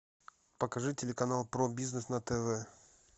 покажи телеканал про бизнес на тв